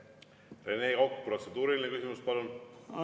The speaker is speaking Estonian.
Rene Kokk, protseduuriline küsimus, palun!